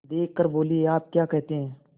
देख कर बोलीआप क्या कहते हैं